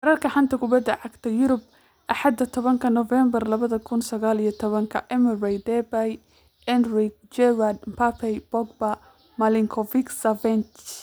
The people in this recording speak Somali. Wararka xanta kubada cagta Yurub Axada tobanka Novembaar labada kuun sagaal iyo tabankaa : Emery, Depay, Enrique, Giroud, Mbappé, Pogba, Milinkovic-Savic